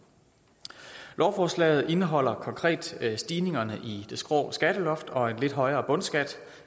lovforslaget indeholder konkrete stigninger i det skrå skatteloft og en lidt højere bundskat